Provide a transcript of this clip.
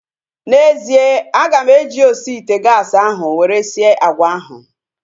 N'ezie, aga m eji osi ite gaasi ahu were sie agwa ahu